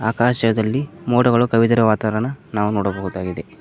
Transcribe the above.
ಆಕಾಶದಲ್ಲಿ ಮೋಡಗಳು ಕವಿದಿರ ವಾತಾವರನ ನಾವು ನೋಡಬಹುದಾಗಿದೆ.